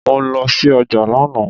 Mo lọ sí ọjà lánàá